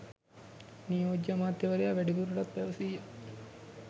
නියෝජ්‍ය අමාත්‍යවරයා වැඩිදුරටත් පැවසීය